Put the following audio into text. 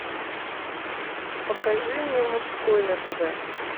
покажи мне мужской на тв